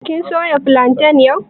Kin soya filantan yau?